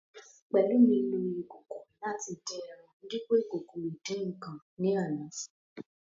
Pelumi lo ìkòkò láti dín ẹran dípo ìkòkò ìdín-ǹǹkan ní àná